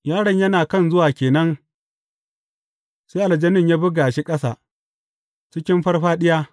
Yaron yana kan zuwa ke nan, sai aljanin ya buga shi ƙasa, cikin farfaɗiya.